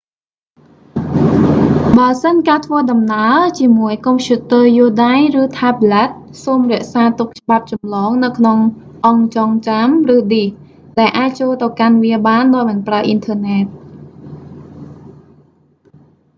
បើសិនការធ្វើដំណើរជាមួយកុំព្យូទ័រយួរដៃ ឬថែបប្លែត សូមរក្សាទុកច្បាប់ចម្លងនៅក្នុងអង្គចង់ចាំ ឬឌីស ដែលអាចចូលទៅកាន់វាបានដោយមិនប្រើអ៊ីនធឺណែត